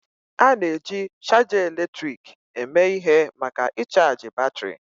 A na-eji chaja eletrik eme ihe maka ịchaji batrị.